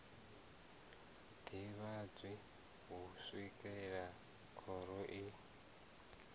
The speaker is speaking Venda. ḓivhadzwi u swikela khoro i